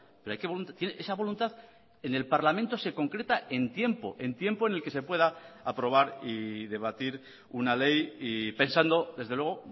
pero esa voluntad en el parlamento se concreta en tiempo en tiempo en el que se pueda aprobar y debatir una ley y pensando desde luego